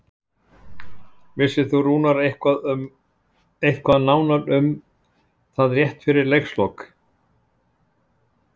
Vissi Rúnar eitthvað nánar um það rétt eftir leikslok?